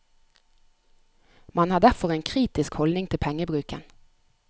Man har derfor en en kritisk holdning til pengebruken.